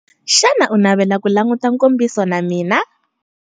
Xana u navela ku languta nkombiso na mina?